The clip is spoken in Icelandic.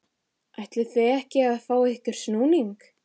ætlið þið ekki að fá ykkur snúning?